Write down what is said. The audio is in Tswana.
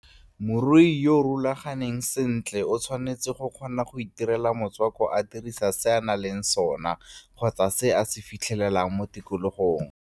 Morui yo o rulaganeng sentle o tshwanetse go kgona go itirela motswako a dirisa sena nang le sona kgotsa se a ka se fitlhelelang mo tikologong.